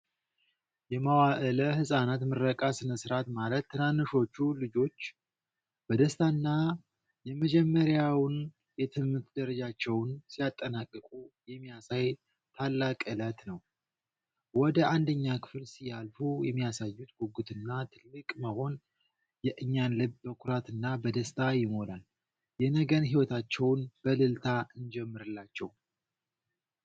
የመዋእለ ህጻናት ምረቃ ስነ ስርዓት ማለት ትንንሾቹ ልጆች በደስታና የመጀመሪያውን የትምህርት ደረጃቸውን ሲያጠናቅቁ የሚያሳይ ታላቅ ዕለት ነው! ወደ አንደኛ ክፍል ሲያልፉ የሚያሳዩት ጉጉትና ትልቅ መሆን የእኛን ልብ በኩራትና በደስታ ይሞላል። የነገን ሕይወታቸውን በእልልታ እንጀምርላቸው!